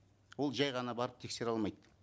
ол жай ғана барып тексере алмайды